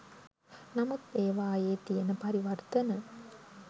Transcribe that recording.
නමුත් ඒවායේ තියෙන පරිවර්තන